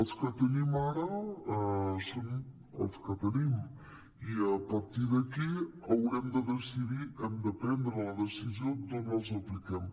els que tenim ara són els que tenim i a partir d’aquí haurem de decidir hem de prendre la deci·sió d’on els apliquem